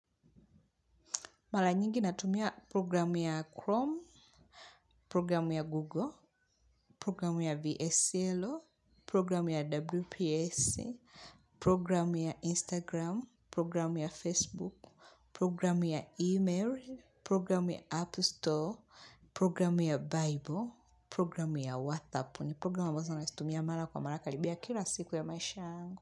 Mara nyingi natumia programu ya Chrome, programu ya Google, programu ya VSLO, programu ya WPS, programu ya Instagram, programu ya Facebook, programu ya E-mail, programu ya App Store, programu ya Bible, programu ya WhatApp. Prgramu nazo ytumia mala kwa mala karibia kila siku ya maisha yangu.